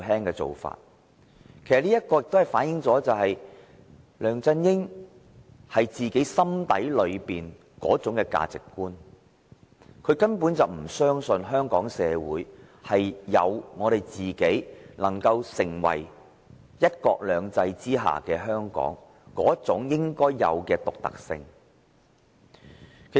此事正正反映梁振英心底的價值觀，就是他根本不相信香港社會具有能夠成為"一國兩制"下的香港的應有獨特性。